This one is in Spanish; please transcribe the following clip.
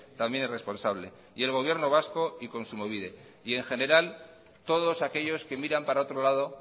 también es responsable y el gobierno vasco y kontsumobide y en general todos aquellos que miran para otro lado